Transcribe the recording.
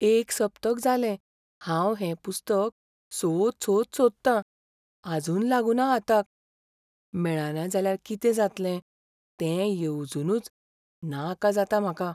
एक सप्तक जालें हांव हें पुस्तक सोद सोद सोदतां, आजून लागुना हाताक. मेळना जाल्यार कितें जातलें तें येवजूनच नाका जाता म्हाका.